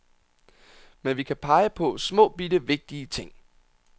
Men vi kan pege på småbitte, vigtige ting.